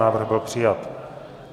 Návrh byl přijat.